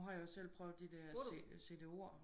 Nu har jeg jo selv prøvet de der CD-ORD